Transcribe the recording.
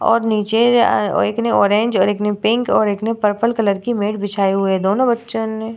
और नीचे अ एक ने ऑरेंज और एक ने पिंक एक ने पर्पल कलर की मेट बिछाए हुइ है दोनों बच्चो ने --